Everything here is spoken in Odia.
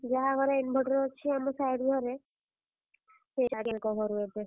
ଯାହା ଘରେ inverter ଅଛି ଆମ side ଘରେ, ।